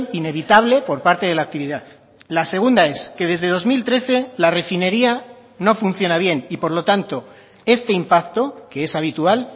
inevitable por parte de la actividad la segunda es que desde dos mil trece la refinería no funciona bien y por lo tanto este impacto que es habitual